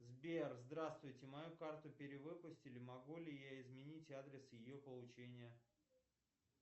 сбер здравствуйте мою карту перевыпустили могу ли я изменить адрес ее получения